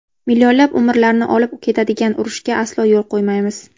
Millionlab umrlarni olib ketadigan urushga aslo yo‘l qo‘ymaymiz.